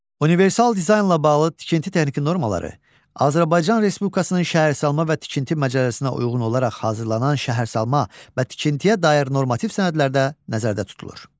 Universal dizaynla bağlı tikinti texniki normaları Azərbaycan Respublikasının Şəhərsalma və Tikinti Məcəlləsinə uyğun olaraq hazırlanan şəhərsalma və tikintiyə dair normativ sənədlərdə nəzərdə tutulur.